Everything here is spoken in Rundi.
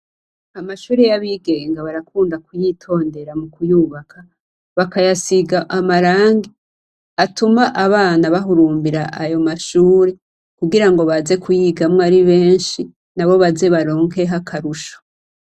Amashure y' abigenga barakunda kuyitondera mu kuyubaka . Bakayasiga amarangi, atuma abana bahurumbira ayo mashure , kugirango baze kuyigamwo ari benshi, nabo baze baronkeho akarusho.